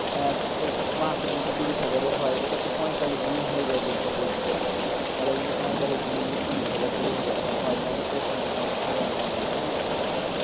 আহ মাসে যদি তিরিশ হাজারী হয় এটাতো পঁয়তাল্লিশ দিন হয়ে হয় বলছে পোল্টি তা তাহলে যদি পঁয়তাল্লিশ দিনে তিরিশ হাজার কুড়ি হাজার টাকা হয় তাহলে তো ওখান থেকে আমার ভালো ইনকাম হয়ে যাবে না একটা